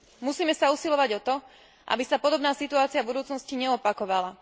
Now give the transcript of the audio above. Musíme sa usilovať o to, aby sa podobná situácia v budúcnosti neopakovala.